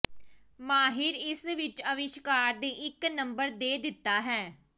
ਮਾਹਿਰ ਇਸ ਵਿਚ ਅਵਿਸ਼ਕਾਰ ਦੇ ਇੱਕ ਨੰਬਰ ਦੇ ਦਿੱਤਾ ਹੈ